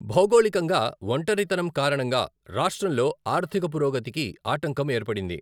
భౌగోళికంగా ఒంటరితనం కారణంగా, రాష్ట్రంలో ఆర్థిక పురోగతికి ఆటంకం ఏర్పడింది.